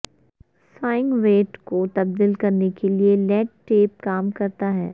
swing weight کو تبدیل کرنے کے لئے لیڈ ٹیپ کام کرتا ہے